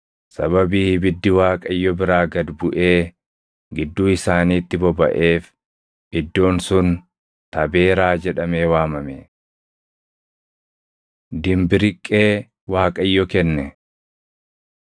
Sababii ibiddi Waaqayyo biraa gad buʼee gidduu isaaniitti bobaʼeef, iddoon sun “Tabeeraa” + 11:3 Tabeeraa Tabeeraa jechuun bobaʼuu jechuu. jedhamee waamame. Dimbiriqqee Waaqayyo Kenne